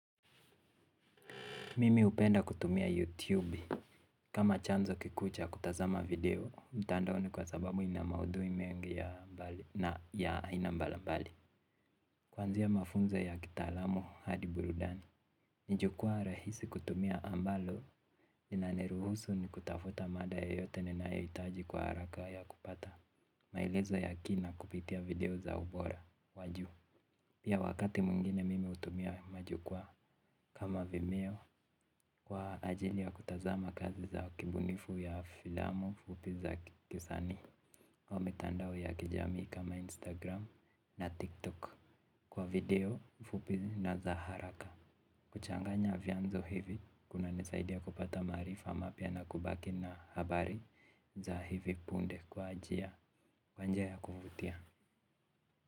Mimi upenda kutumia YouTube, kama chanzo kiku cha kutazama video, mtandaoni kwa sababu ina maudui mengi ya mbali, na ya aina mbali mbali. Kwanzia mafunzo ya kitalamu Hadi Burudani, nijukua rahisi kutumia ambalo, lina niruhusu ni kutafuta mada yoyote ni naayoitaji kwa haraka ya kupata maelezo ya kina kupitia video za ubora, waju. Pia wakati muingine mimi utumia majukua kama vimeo kwa ajili ya kutazama kazi za kibunifu ya filamo fupi za kisani. Kwa mitandao ya kijami kama Instagram na TikTok kwa video fupi na za haraka. Kuchanganya vianzo hivi, kuna nisaidia kupata marifa mapia na kubaki na habari za hivi punde kwa ajia kwa njia ya kuvutia.